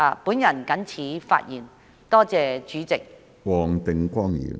我謹此陳辭，多謝主席。